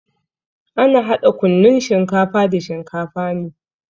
Ana hada kunnun shinkafa da shinkafa ne.